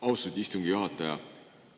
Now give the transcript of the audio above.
Austatud istungi juhataja!